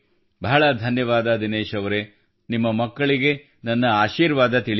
ಬಹಳ ಧನ್ಯವಾದ ದಿನೇಶ್ ಅವರೆ ನಿಮ್ಮ ಮಕ್ಕಳಿಗೆ ನನ್ನ ಆಶೀರ್ವಾದ ತಿಳಿಸಿ